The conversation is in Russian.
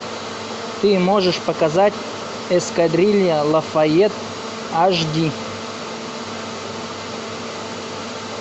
ты можешь показать эскадрилья лафайет аш ди